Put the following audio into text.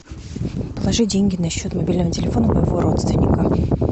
положи деньги на счет мобильного телефона моего родственника